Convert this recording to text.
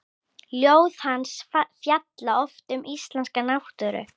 Ljóð hans fjalla oft um íslenska náttúru.